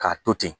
K'a to ten